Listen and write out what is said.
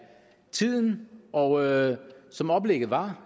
af tiden og som oplægget var